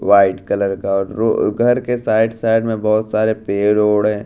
White colour का घर के साइड साइड में बहोत सारे पेड़ वेड़ है।